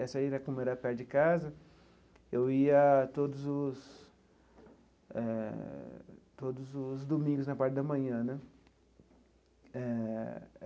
Essa aí, como era perto de casa, eu ia todos os eh todos os domingos, na parte da manhã né eh.